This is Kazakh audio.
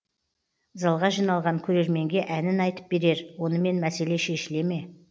залға жиналған көрерменге әнін айтып берер онымен мәселе шешіле ме